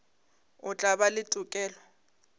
o tla ba le tokelo